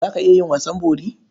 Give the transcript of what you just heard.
Za ka iya yin wasan bori?